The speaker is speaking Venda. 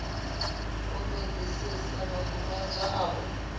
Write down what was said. u ṱoḓisisa makumedzwa a u